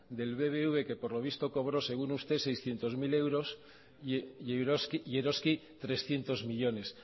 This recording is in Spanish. del bbv que por lo visto cobró según usted seiscientos mil euros y eroski trescientos millónes